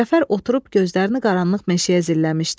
Cəfər oturub gözlərini qaranlıq meşəyə zilləmişdi.